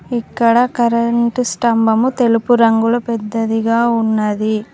ఇక్కడ కరెంటు స్తంభము తెలుపు రంగులో పెద్దదిగా ఉన్నది.